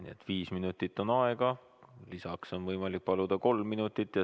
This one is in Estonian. Aega on viis minutit, lisaks on võimalik paluda kolm minutit.